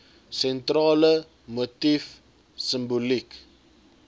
sentrale motief simboliek